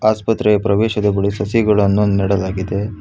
ಆಸ್ಪತ್ರೆಯ ಪ್ರವೇಶದ ಬಳಿ ಸಸಿಗಳನ್ನು ನೆಡಲಾಗಿದೆ.